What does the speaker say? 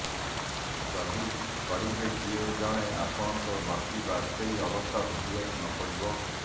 ଯଦି କରିବେ କିଏ ଜାଣେ ଆପଣଙ୍କୁ ଲକି ବାଜପେୟୀ ଅବସ୍ଥା ଭୋଗିବାକୁ ନପଡିବ